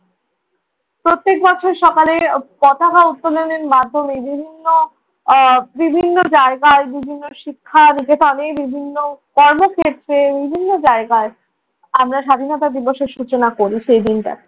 প্রত্যেক বছর সকালে পতাকা উত্তোলনের মাধ্যমে বিভিন্ন বিভিন্ন আহ বিভিন্ন জায়গায়, বিভিন্ন শিক্ষা যেটা আমিও বিভিন্ন কর্মক্ষেত্রে, বিভিন্ন জায়গায় আমরা স্বাধীনতা দিবসের সূচনা করি সেই দিনটায়।